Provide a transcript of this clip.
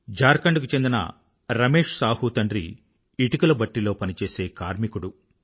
ఝార్ఖండ్ కు చెందిన రమేష్ సాహూ తండ్రి ఇటుకల బట్టీలో పనిచేసే కార్మికుడు